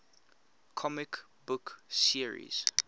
comic book series